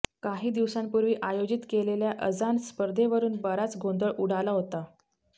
काही दिवसांपूर्वी आयोजित केलेल्या अजान स्पर्धेवरुन बराच गोंधळ उडाला होता